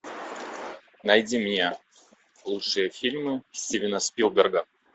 найди мне лучшие фильмы стивена спилберга